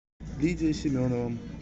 лидия семенова